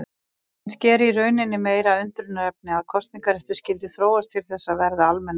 Kannski er í rauninni meira undrunarefni að kosningaréttur skyldi þróast til þess að verða almennur.